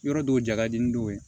Yɔrɔ dɔw ja ka di n dɔw ye